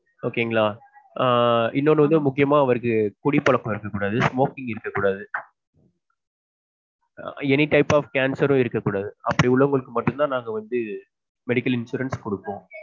okay ங்களா ஆஹ் இன்னொன்னு வந்து அவருக்கு முக்கியமா குடிப்பழக்கம் இருக்க கூடாது smoking இருக்ககூடாது any type of cancer உம் இருக்ககூடாது அப்டி உள்ளவங்களுக்கு மட்டும் தான் நாங்கவந்து medical insurance குடுப்பொம்